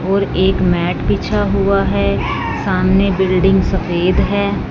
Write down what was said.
और एक मैट बिछा हुआ है सामने बिल्डिंग सफेद है।